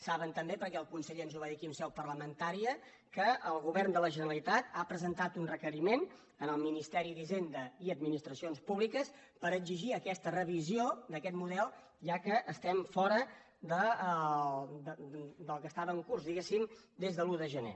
sa·ben també perquè el conseller ens ho va dir aquí en seu parlamentària que el govern de la generalitat ha presentat un requeriment al ministeri d’hisenda i administracions públiques per exigir aquesta revisió d’aquest model ja que estem fora del que estava en curs diguéssim des de l’un de gener